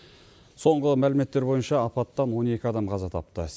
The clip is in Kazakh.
соңғы мәліметтер бойынша апаттан он екі адам қаза тапты